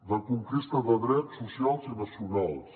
de conquesta de drets socials i nacionals